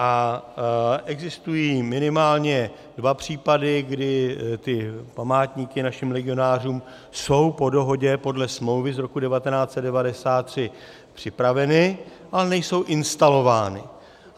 A existují minimálně dva případy, kdy ty památníky našim legionářům jsou po dohodě podle smlouvy z roku 1993 připraveny, ale nejsou instalovány.